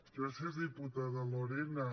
gràcies diputada lorena